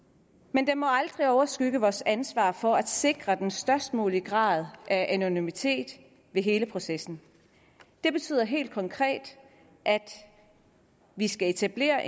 men det må aldrig overskygge vores ansvar for at sikre den størst mulige grad af anonymitet i hele processen det betyder helt konkret at vi skal etablere